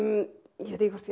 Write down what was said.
ég veit ekki hvort ég